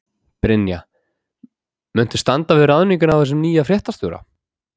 Brynja: Muntu standa við ráðninguna á þessum nýja fréttastjóra?